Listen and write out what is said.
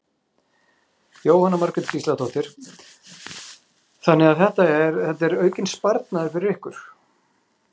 Jóhanna Margrét Gísladóttir: Þannig að þetta er, þetta er aukinn sparnaður fyrir ykkur?